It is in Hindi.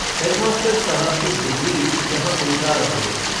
हेडमास्टर साहब की डिग्री यहाँ बेकार हो गई।